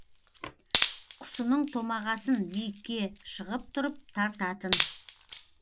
құсының томағасын биікке шығып тұрып тартатын